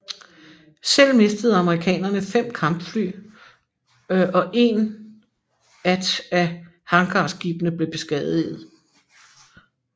Selv mistede amerikanerne 5 kampfly og en at af hangarskibene blev beskadiget